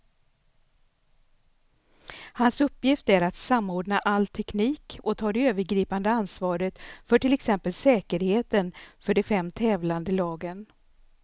Hans uppgift är att samordna all teknik och ta det övergripande ansvaret för till exempel säkerheten för de fem tävlande lagen.